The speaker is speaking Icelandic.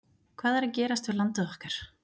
Hvað er að gerast við landið okkar?